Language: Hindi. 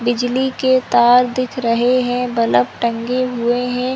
बिजली के तार दिख रहे है बल्ब टंगे हुए है।